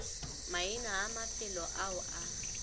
maina a mafelo ao a